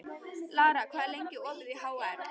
Lara, hvað er lengi opið í HR?